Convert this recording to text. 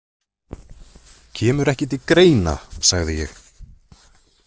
Kemur ekki til greina, sagði ég.